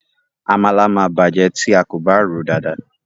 Àmàlà ma bàjẹ́ tí a kò bá ròó dada.